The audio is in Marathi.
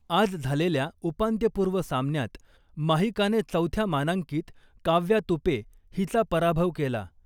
आज झालेल्या उपांत्यपूर्व सामन्यात माहीकाने चौथ्या मानांकित काव्या तुपे हिचा पराभव केला .